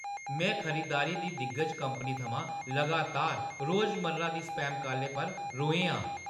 में खरीदारी दी दिग्गज कंपनी थमां लगातार रोजमर्रा दी स्पैम कालें पर रोहैं आं।